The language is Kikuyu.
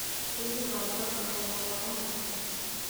Hihi wanyongerera mohoro mangĩ?